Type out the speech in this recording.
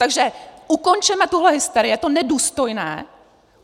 Takže ukončeme tuhle hysterii, je to nedůstojné!